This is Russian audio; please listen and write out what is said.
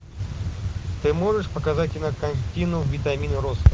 ты можешь показать кинокартину витамин роста